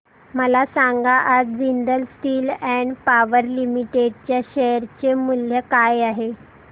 मला सांगा आज Jindal steel and power limited च्या शेअर चे मूल्य काय आहे